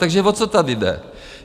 Takže o co tady jde?